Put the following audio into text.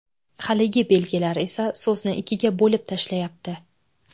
Haligi belgilar esa so‘zni ikkiga bo‘lib tashlayapti.